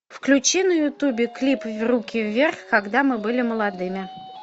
включи на ютубе клип руки вверх когда мы были молодыми